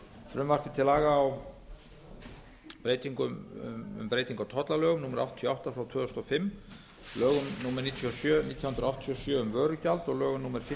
frumvarpi til laga um breyting á tollalögum númer áttatíu og átta tvö þúsund og fimm lögum númer níutíu og sjö nítján hundruð áttatíu og sjö um vörugjald og lögum númer fimmtíu nítján